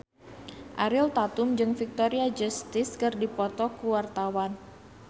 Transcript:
Ariel Tatum jeung Victoria Justice keur dipoto ku wartawan